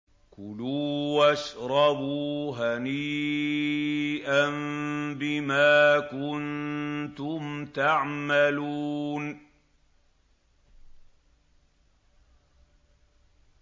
كُلُوا وَاشْرَبُوا هَنِيئًا بِمَا كُنتُمْ تَعْمَلُونَ